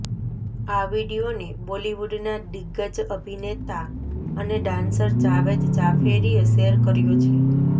આ વીડિયોને બોલિવૂડના દિગ્ગજ અભિનેતા અને ડાન્સર જાવેદ જાફેરીએ શેર કર્યો છે